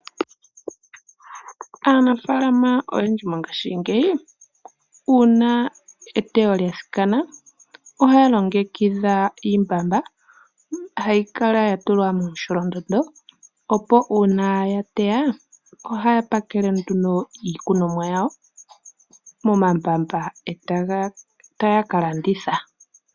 Aanafaalama oyendji mongaashingeyi uuna eteyo lya thikana ohaya longekidha iimbamba hayi kala yatulwa momusholondondo opo uuna ya twya ohaya pakele nduno iilikolomwa yawo momambamba etaya ka landitha.